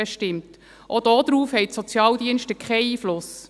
Auch darauf haben die Sozialdienste keinen Einfluss.